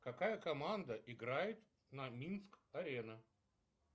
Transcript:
какая команда играет на минск арена